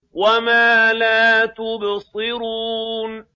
وَمَا لَا تُبْصِرُونَ